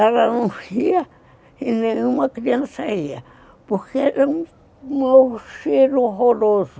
Ela não ria e nenhuma criança ria, porque era um cheiro horroroso.